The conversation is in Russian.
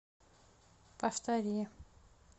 повтори